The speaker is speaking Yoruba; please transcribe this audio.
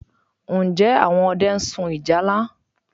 Ǹjẹ́ àwọn ọdẹ ń sun ìjálá?